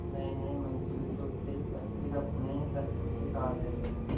नयेनये मनसूबे सोचते पर फिर अपने ही तर्को से काट देते